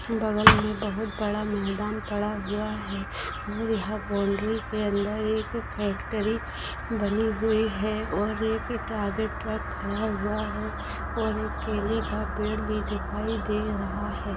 बगल में बहुत बड़ा मैदान पड़ा हुआ है और यहाँ बाउन्ड्री के अंदर एक फैक्ट्री बनी हुई है और एक टा ट्रक खड़ा हुआ है और एक केले का पेड़ भी दिखाई दे रहा है।